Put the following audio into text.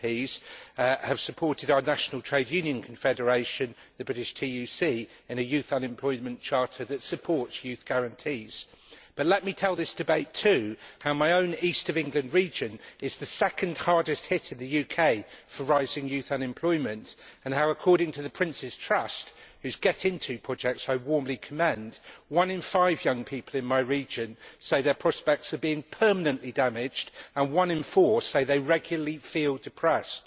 MEPs have supported our national trade union confederation, the British TUC, in a youth unemployment charter that supports youth guarantees. But let me tell the House too how my own East of England region is the second hardest hit in the UK for rising youth unemployment and how, according to the Prince's Trust whose get into' projects I warmly commend one in five young people in my region say their prospects are being permanently damaged and one in four say they regularly feel depressed.